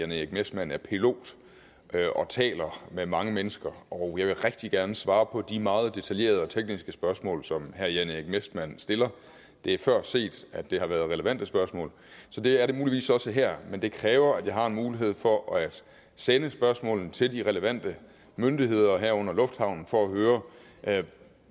jan erik messmann er pilot og taler med mange mennesker og jeg vil rigtig gerne svare på de meget detaljerede og tekniske spørgsmål som herre jan erik messmann stiller det er før set at det har været relevante spørgsmål så det er det muligvis også her men det kræver at jeg har en mulighed for at sende spørgsmålene til de relevante myndigheder herunder lufthavnen for at høre